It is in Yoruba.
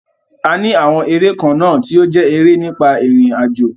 A ní àwọn eré kan náà tí ó jẹ́ eré nípa irinajo.